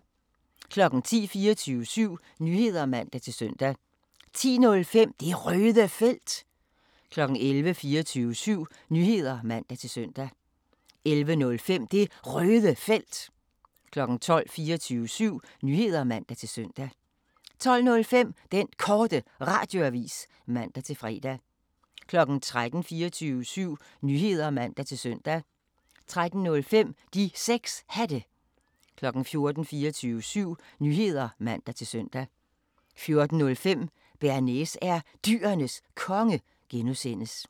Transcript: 10:00: 24syv Nyheder (man-søn) 10:05: Det Røde Felt 11:00: 24syv Nyheder (man-søn) 11:05: Det Røde Felt 12:00: 24syv Nyheder (man-søn) 12:05: Den Korte Radioavis (man-fre) 13:00: 24syv Nyheder (man-søn) 13:05: De 6 Hatte 14:00: 24syv Nyheder (man-søn) 14:05: Bearnaise er Dyrenes Konge (G)